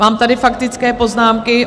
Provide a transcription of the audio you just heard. Mám tady faktické poznámky.